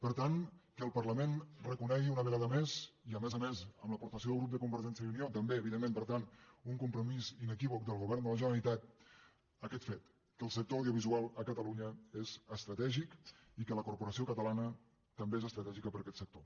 per tant que el parlament reconegui una vegada més i a més a més amb l’aportació del grup de convergència i unió també evidentment per tant un compromís inequívoc del govern de la generalitat aquest fet que el sector audiovisual a catalunya és estratègic i que la corporació catalana també és estratègica per a aquest sector